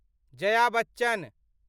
Jaya Bachchan